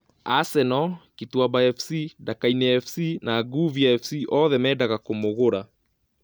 Asenoo, Kituamba Fc, Ndakaine Fc na Nguviu Fc oothe mendaga kũmũgura